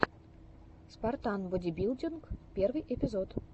спартан бодибилдинг первый эпизод